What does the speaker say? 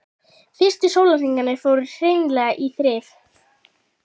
Fyrstu sólarhringarnir fóru hreinlega í þrif.